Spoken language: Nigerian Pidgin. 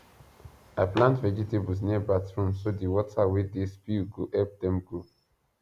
i plant vegetables near bathroom so the water wey dey spill go help dem grow